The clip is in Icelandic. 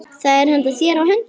Hvað er þér á höndum?